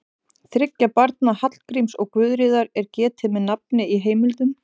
Þriggja barna Hallgríms og Guðríðar er getið með nafni í heimildum.